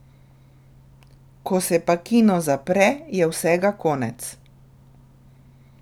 Ko se pa kino zapre, je vsega konec.